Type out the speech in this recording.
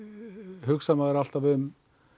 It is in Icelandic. hugsar maður alltaf um